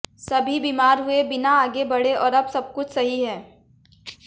सभी बीमार हुए बिना आगे बढ़े और अब सब कुछ सही है